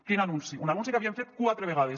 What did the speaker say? quin anunci un anunci que havien fet quatre vegades